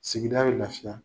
Sigida bɛ lafiya.